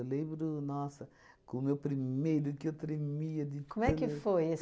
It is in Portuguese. lembro, nossa, com o meu primeiro, que eu tremia de... Como é que foi?